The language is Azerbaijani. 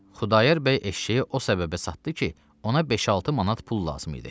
Xudayar bəy eşşəyi o səbəbə çatıb ki, ona beş-altı manat pul lazım idi.